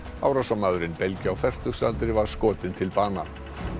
árásarmaðurinn belgi á fertugsaldri var skotinn til bana